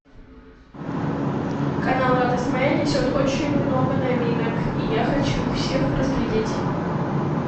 канал радость моя несет очень много новинок и я хочу их всех разглядеть